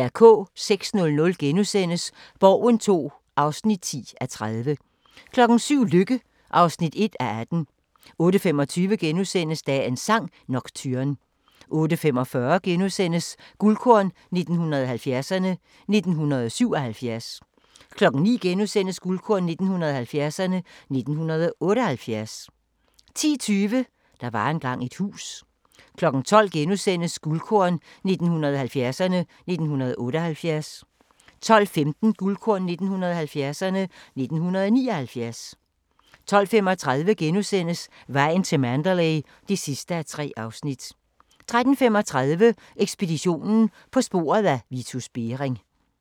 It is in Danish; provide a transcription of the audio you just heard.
06:00: Borgen II (10:30)* 07:00: Lykke (1:18) 08:25: Dagens sang: Nocturne * 08:45: Guldkorn 1970'erne: 1977 * 09:00: Guldkorn 1970'erne: 1978 * 10:20: Der var engang et hus 12:00: Guldkorn 1970'erne: 1978 * 12:15: Guldkorn 1970'erne: 1979 12:35: Vejen til Mandalay (3:3)* 13:35: Ekspeditionen - på sporet af Vitus Bering